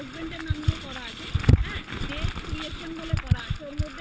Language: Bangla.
আমার husband এর নামের করা আছে best creation বলে করা আছে ওটার